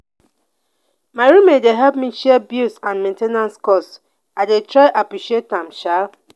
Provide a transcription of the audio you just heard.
my roommate dey help me share bills and main ten ance cost. i dey try appreciate am sha.